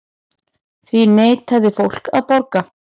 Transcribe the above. Því neitaði fólkið að borga.